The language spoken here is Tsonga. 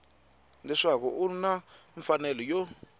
leswaku u na mfanelo yo